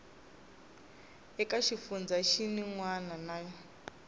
eka xifundzha xin wana na